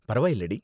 பரவாயில்லடி.